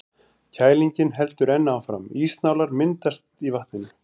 Kælingin heldur enn áfram, ísnálar myndast í vatninu.